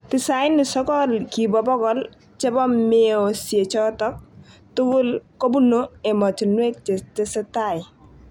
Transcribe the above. Tisaini sogol kibo bogol chebo meosiechotok tigul kobunu emotinwek chetesetai.